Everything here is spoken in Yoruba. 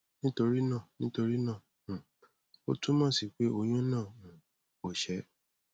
nítorí náà nítorí náà um ó túmọ sí peh oyun náà um ò ṣé